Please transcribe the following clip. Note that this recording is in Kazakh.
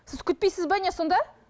сіз күтпейсіз бе не сонда